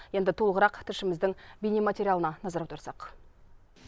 енді толығырақ тілшіміздің бейнематериалына назар аударсақ